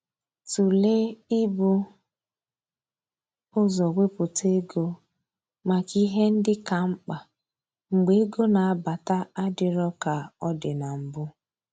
Tụlee i bu ụzọ wepụta ego maka ihe ndị ka mkpa mgbe ego na-abata adịro ka ọ dị na mbụ